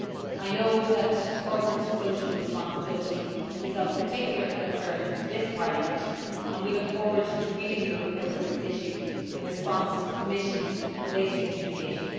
I know that corporate social responsibility is of particular concern to this Parliament, and we look forward to reading your report on this issue in response to the Commission's latest communication.